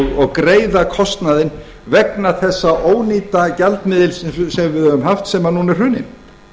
og greiða kostnaðinn vegna þessa ónýta gjaldmiðils sem við höfum haft sem núna er hruninn